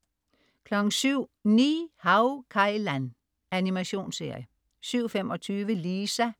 07.00 Ni-Hao Kai Lan. Animationsserie 07.25 Lisa